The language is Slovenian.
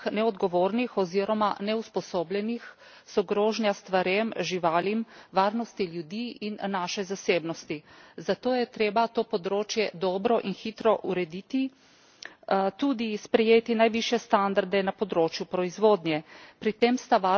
Toda v rokah neodgovornih oziroma neusposobljenih so grožnja stvarem, živalim, varnosti in zasebnosti ljudi, zato je treba to področje dobro in hitro urediti, tudi sprejeti najvišje standarde na področju proizvodnje.